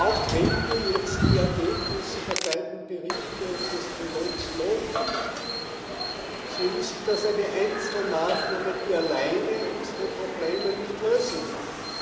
Auch wenn wir jetzt die Ergebnisse der beiden Berichte und des Trilogs loben, so ist das eine Einzelmaßnahme, die alleine unsere Probleme nicht lösen kann.